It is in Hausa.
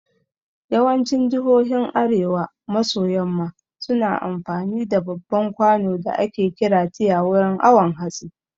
Yawancin jihohin arewa maso yamma suna amfani da babban kwano da ake kira tiya wurin awon hatsi